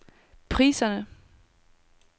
priserne